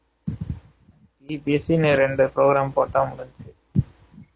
EPS இன்னும் ரெண்டு program போட்டா முடுஞ்சுசு